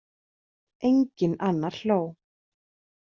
Enginn annar hló.